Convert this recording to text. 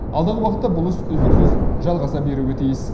алдағы уақытта бұл іс үздіксіз жалғаса беруі тиіс